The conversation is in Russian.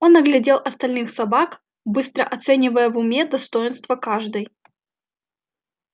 он оглядел остальных собак быстро оценивая в уме достоинства каждой